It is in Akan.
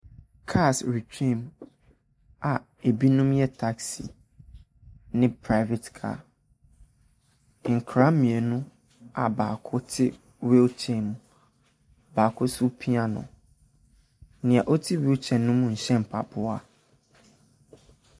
Cars retwa mu a binom yɛ taxi ne private car, nkwadaa mmienu a baako te wheelchair mu, baako nso repia no, deɛ ɔte wheelchair mu no nhyɛ mpaboa.